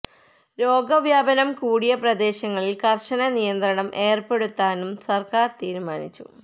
രോഗ വ്യാപനം കൂടിയ പ്രദേശങ്ങളിൽ കർശന നിയന്ത്രണം ഏർപ്പെടുത്താനും സർക്കാർ തീരുമാനിച്ചു